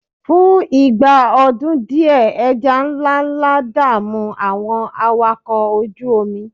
fún ìgbà ọdún diẹ eja nlánlá da'mu àwọn awakọ oju omi